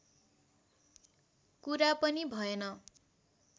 कुरा पनि भएन